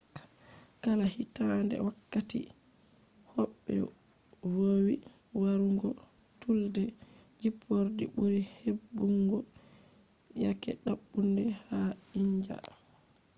kala hitaande wakkati hobbe vowi warugo tiilde jippordi buri hebbungo yake dabbunde ha india